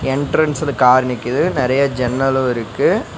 என்ட்ரன்ஸ்ல கார் நிக்கிது நெறையா ஜன்னலு இருக்கு.